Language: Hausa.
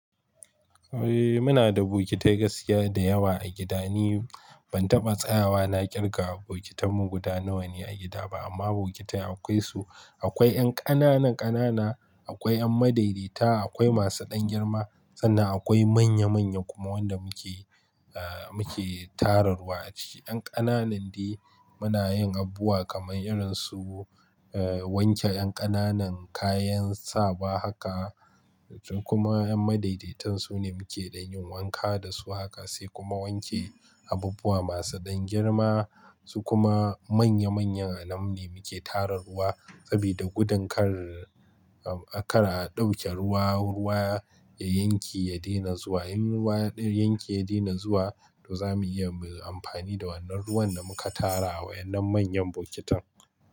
Eh muna da bokitai gaskiya da yawa a gida. Ni ban taɓa tsayawa na kirga bokitan mu guda nawa ne a gida ba amma bokitai akwai su. Akwai ƴan ƙananan ƙanana, akwai ƴan madaidaita, akwai masu ɗan girma sannan akwai manya manya kuma wanda muke eh muke tara ruwa a ciki. Ƴan ƙananan dai muna yin abubuwa kamar irin su eh wanke ƴan ƙananan kayan sawa haka su kuma ƴan madaidaitan su ne muke ɗanyin wanka da su haka sai kuma wanke abubuwa masu ɗan girma su kuma manya manyan anam ne muke tara ruwa saboda gudun kar a kara ɗauke ruwa, ruwa ya yanke ya daina zuwa. In ruwa ya daina zuwa to zamu iya mu yi amfani da wannan ruwan da muka tarawa yanin manyan bokitan.